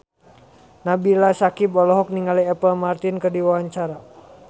Nabila Syakieb olohok ningali Apple Martin keur diwawancara